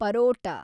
paratha